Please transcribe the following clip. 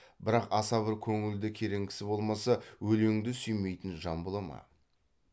бірақ аса бір көңілді керең кісі болмаса өлеңді сүймейтін жан бола ма